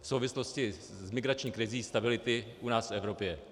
v souvislosti s migrační krizí, stability u nás v Evropě.